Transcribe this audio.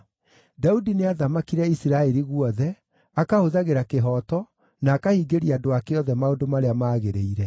Daudi nĩathamakire Isiraeli guothe, akahũthagĩra kĩhooto, na akahingĩria andũ ake othe maũndũ marĩa maagĩrĩire.